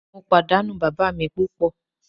Mo padanu baba mi pupo.